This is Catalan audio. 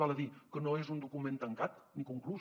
val a dir que no és un document tancat ni conclús